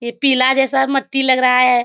ये पीला जैसा मट्टी लग रहा है।